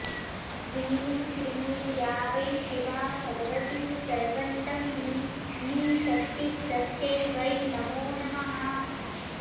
ह्रीं श्रीं या वै शिवा भगवती सर्वन्तम्भिनीशक्तिस्तस्यै वै नमो नमः